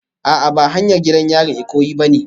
A'a ba hanyar gidan yarin Ikoyi bane